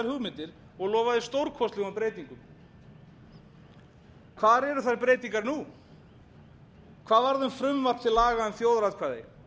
hugmyndir og lofaði stórkostlegum breytingum hvar eru þær breytingar nú hvað varð um frumvarp til laga um þjóðaratkvæði